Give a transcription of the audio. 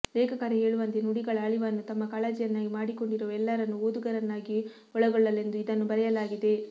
ಲೇಖಕರೇ ಹೇಳುವಂತೆ ನುಡಿಗಳ ಅಳಿವನ್ನು ತಮ್ಮ ಕಾಳಜಿಯನ್ನಾಗಿ ಮಾಡಿಕೊಂಡಿರುವ ಎಲ್ಲರನ್ನೂ ಓದುಗರನ್ನಾಗಿ ಒಳಗೊಳ್ಳಲೆಂದು ಇದನ್ನು ಬರೆಯಲಾಗಿದೆ